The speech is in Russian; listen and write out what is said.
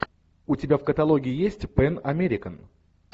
у тебя в каталоге есть пэн американ